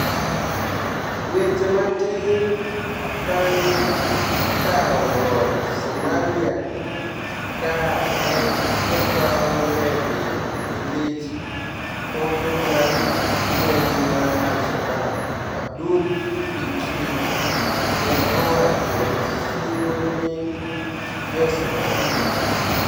Dweche matini banig' kawo loch Somalia ka eni e paw nidege niikech Holo mar monij mar Al Shabaab, Abdul Fitri ni e ochiwo sinigo ni e Jo Somalia.